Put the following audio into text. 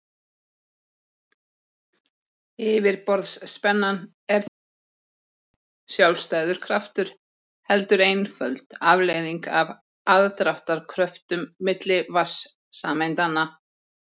Yfirborðsspennan er því ekki sérstakur, sjálfstæður kraftur heldur einföld afleiðing af aðdráttarkröftum milli vatnssameindanna.